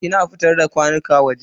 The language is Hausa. Ina fitar da kwanuka waje.